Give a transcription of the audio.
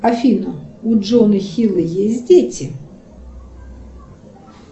афина у джона хилла есть дети